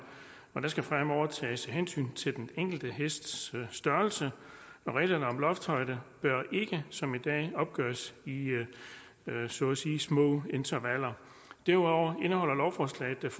der skal fremover tages hensyn til den enkelte hests størrelse og reglerne om loftshøjde bør ikke som i dag opgøres i så at sige små intervaller derudover indeholder lovforslaget